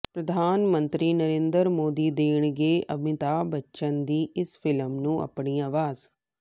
ਪ੍ਰਧਾਨਮੰਤਰੀ ਨਰਿੰਦਰ ਮੋਦੀ ਦੇਣਗੇ ਅਮਿਤਾਭ ਬੱਚਨ ਦੀ ਇਸ ਫਿਲਮ ਨੂੰ ਆਪਣੀ ਆਵਾਜ਼